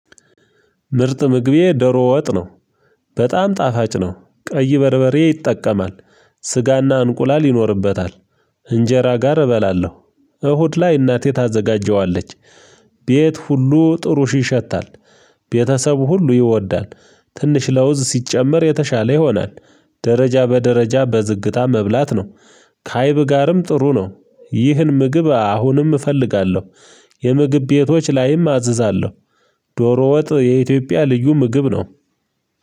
ምርጥ ምግቤ ዶሮ ወጥ ነው። በጣም ጣፋጭ ነው። ቀይ በርበሬ ይጠቀማል። ስጋና እንቁላል ይኖርበታል። እንጀራ ጋር እበላለሁ። እሁድ ላይ እናቴ ታዘጋጀዋለች። ቤት ሁሉ ጥሩሽ ይሸታል። ቤተሰብ ሁሉ ይወዳል ትንሽ ለውዝ ሲጨመር የተሻለ ይሆናል። ደረጃ በደረጃ በዝግታ መብላት ነው። ካይብ ጋርም ጥሩ ነው። ይህን ምግብ አሁንም እፈልጋለሁ። የምግብ ቤቶች ላይም አዝዛለሁ። ዶሮ ወጥ የኢትዮጵያ ልዩ ምግብ ነው።